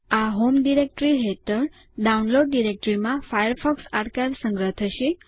આ home directory હેઠળ download ડિરેક્ટરીમાં ફાયરફોકસ આરકાઈવ સંગ્રહ થશે